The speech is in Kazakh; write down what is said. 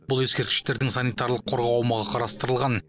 бұл ескерткіштердің санитарлық қорғау аумағы қарастырылған